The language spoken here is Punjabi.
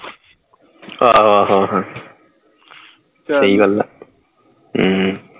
ਆਹ ਸਹੀ ਗੱਲ ਹੈ ਚੱਲ